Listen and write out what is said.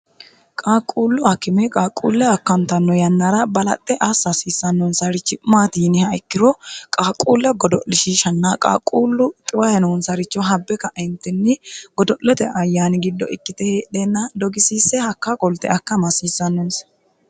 qaaqquullu akime qaaqquulle akkantanno yannara balaxxe assa hasiissannonsarichi maati yiniha ikkiro qaaquulle godo'lishiishanna qaaqquullu xiwaye noonsaricho habbe ka'entinni godo'lote ayyaani giddo ikkite heedheenna dogisiisse hakka qolte akkama hasiissannonse